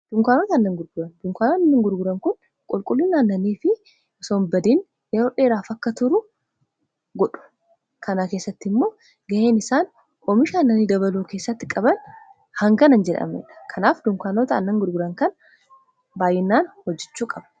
dunkaanota aannan gurguran. dunkaanota aannan gurguran kun qulqullin aannanii yeroo dheeraaf akka turu godhu kanaa keessatti immoo ga'een isaan oomisha aannanii dabaluu keessatti qaban hangana kan hin jedhamnedha. kanaaf dunkaanota annan gurguran kan baayyinnaan hojjichuu qabna.